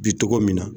Bi togo min na